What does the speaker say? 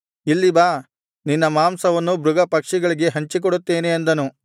ಇಲ್ಲಿ ಬಾ ನಿನ್ನ ಮಾಂಸವನ್ನು ಮೃಗ ಪಕ್ಷಿಗಳಿಗೆ ಹಂಚಿಕೊಡುತ್ತೇನೆ ಅಂದನು